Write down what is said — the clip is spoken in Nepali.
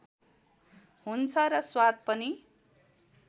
हुन्छ र स्वाद पनि